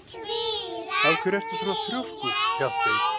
Af hverju ertu svona þrjóskur, Hjaltey?